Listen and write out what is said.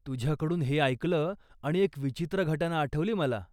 तुझ्याकडून हे ऐकलं आणि एक विचित्र घटना आठवली मला.